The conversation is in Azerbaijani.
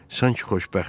Sanki xoşbəxtdir.